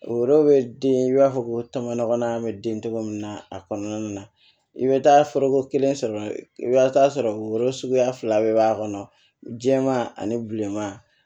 Orobo be den i b'a fɔ ko tɔmɔnɔ ŋɔnɔan be den cogo min na a kɔnɔna na i be taa foroko kelen sɔrɔ i bi taa sɔrɔ woro suguya fila bɛɛ b'a kɔnɔ jɛman ani bilenman